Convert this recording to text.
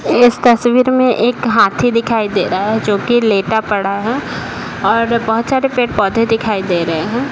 इस तस्वीर में एक हाथी दिखाई दे रहा है जो कि लेटा पड़ा है और बहुत सारे पड़े-पौधे दिखाई दे रहे हैं ।